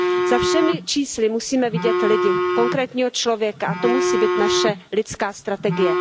Za všemi čísly musíme vidět lidi, konkrétního člověka, a to musí být naše lidská strategie.